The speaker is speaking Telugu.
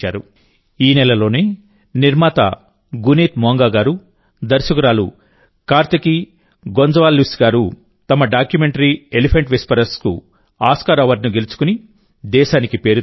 ఈ నెలలోనే నిర్మాత గునీత్ మోంగా గారు దర్శకుడు కార్తికీ గొంజాల్విస్ గారు తమ డాక్యుమెంటరీ ఎలిఫెంట్ విస్పరర్స్ కు ఆస్కార్ అవార్డును గెలుచుకుని దేశానికి పేరు తెచ్చారు